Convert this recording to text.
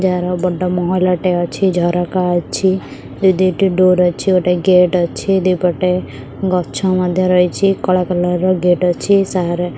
ଯାହାର ବଡ ମହଲ ଟେ ଅଛି ଝରକା ଅଛି ଦୁଇ ଦୁଇ ଟି ଡୋର ଅଛି ଗୋଟେ ଗେଟ୍ ଅଛି ଦୁଇ ପଟେ ଗଛ ମଧ୍ୟ ରହିଛି କଳା କୋଲର୍ ଗେଟ ଅଛି ସାହାରା --